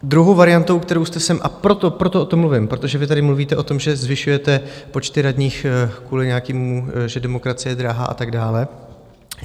Druhou variantou, kterou jste sem - a proto o tom mluvím, protože vy tady mluvíte o tom, že zvyšujete počty radních kvůli nějakému, že demokracie je drahá a tak dále.